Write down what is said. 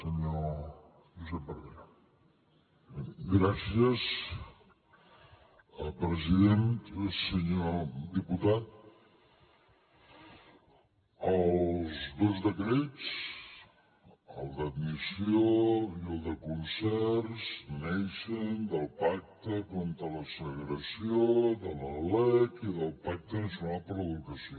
senyor diputat els dos decrets el d’admissió i el de concerts neixen del pacte contra la segregació de la lec i del pacte nacional per a l’educació